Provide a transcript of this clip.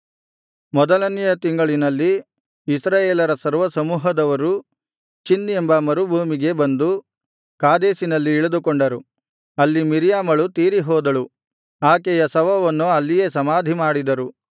ಮೊದಲನೆಯ ತಿಂಗಳಿನಲ್ಲಿ ಇಸ್ರಾಯೇಲರ ಸರ್ವಸಮೂಹದವರು ಚಿನ್ ಎಂಬ ಮರುಭೂಮಿಗೆ ಬಂದು ಕಾದೇಶಿನಲ್ಲಿ ಇಳಿದುಕೊಂಡರು ಅಲ್ಲಿ ಮಿರ್ಯಾಮಳು ತೀರಿಹೋದಳು ಆಕೆಯ ಶವವನ್ನು ಅಲ್ಲಿಯೇ ಸಮಾಧಿಮಾಡಿದರು